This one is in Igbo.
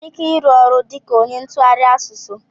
I nwere ike ịrụ ọrụ dịka ónyé ntụgharị asụsụ?